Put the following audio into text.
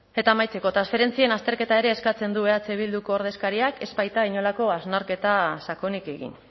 eta amaitzeko transferentzien azterketa ere eskatzen du eh bilduko ordezkariak ez baita inolako hausnarketa sakonik egin